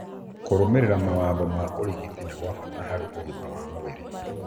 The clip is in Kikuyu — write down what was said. Kũrũmĩrĩra mawatho ma ũrigitani nĩ gwa bata harĩ ũgima waku wa mwĩrĩ